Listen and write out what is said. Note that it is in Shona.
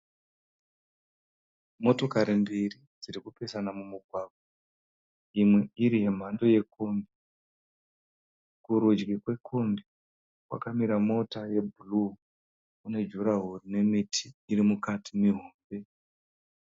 Motokari mbiri dziri kupesana mumugwagwa imwe iri yemhando yekombi. Kurudyi kwekombi kwakamira mota yebhuru nejurahoro rine miti mihombe.